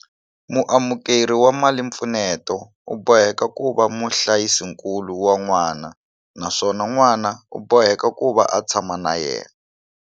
Muamukeri wa malimpfuneto u boheka ku va muhlayisinkulu wa n'wana naswona n'wana u boheka ku va a tshama na yena.